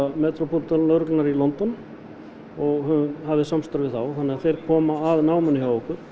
Metropol lögreglunnar í London og hófum samstarf við þá og þeir koma að náminu hjá okkur